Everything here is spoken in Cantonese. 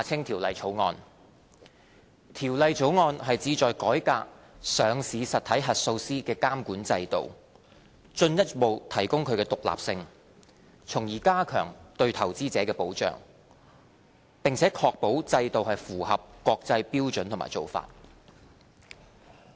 《條例草案》旨在改革上市實體核數師的監管制度，進一步提高其獨立性，從而加強對投資者的保障，並且確保制度符合國際標準和做法。